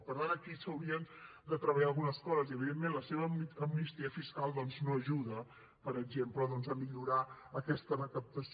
per tant aquí s’haurien de treballar algunes coses i evidentment la seva amnistia fiscal doncs no ajuda per exemple a millorar aquesta recaptació